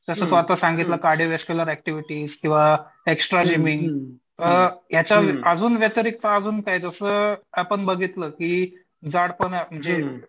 जसं तू आता सांगितलं ऍक्टिव्हिटी किंवा एक्स्ट्रा जिमिंग अ याच्या अजून व्यतिरिक्त अजून काय जसं आपण बघितलं की जडपणा जे